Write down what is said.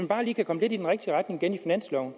bare lige kan komme lidt i den rigtige retning igen i finansloven